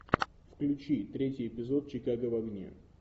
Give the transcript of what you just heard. включи третий эпизод чикаго в огне